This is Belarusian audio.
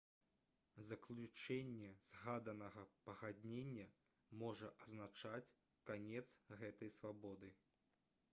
заключэнне згаданага пагаднення можа азначаць канец гэтай свабоды